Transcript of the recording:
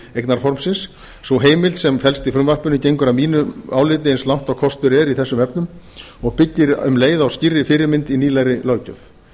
eignarformsins sú heimild sem felst í frumvarpinu gengur að mínu áliti eins langt og kostur er í þessum efnum og byggir um leið á skýrri fyrirmynd í nýlegri löggjöf